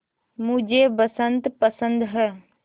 मुझे बसंत पसंद है